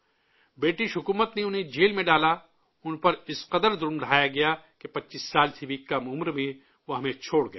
برطانوی حکومت نے انہیں جیل میں ڈالا، ان کے اوپر اس قدر ظلم ڈھائے کہ 25 سال سے بھی کم عمر میں وہ ہمیں چھوڑ گئے